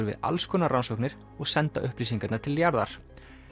við allskonar rannsóknir og senda upplýsingarnar til jarðar